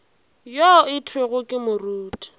yo go thwego ke moruti